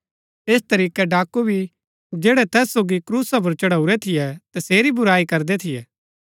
ऐस तरीकै डाकू भी जैड़ै तैस सोगी क्रूसा पुर चढ़ाऊरै थियै तसेरी बुराई करदै थियै